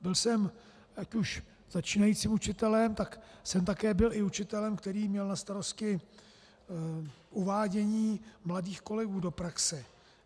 Byl jsem ať už začínajícím učitelem, tak jsem také byl i učitelem, který měl na starosti uvádění mladých kolegů do praxe.